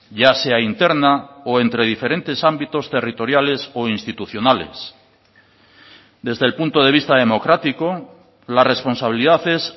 ya sea interna o entre diferentes ámbitos territoriales o institucionales desde el punto de vista democrático la responsabilidad es